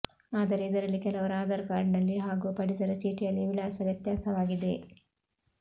ಆದರೆ ಇದರಲ್ಲಿ ಕೆಲವರ ಆಧಾರ್ ಕಾರ್ಡ್ನಲ್ಲಿ ಹಾಗೂ ಪಡಿತರ ಚೀಟಿಯಲ್ಲಿ ವಿಳಾಸ ವ್ಯತ್ಯಾಸವಾಗಿದೆ